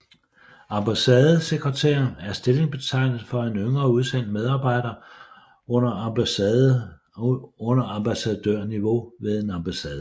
Ambassadesekretær er stillingsbetegnelse for en yngre udsendt medarbejder under ambassadørniveau ved en ambassade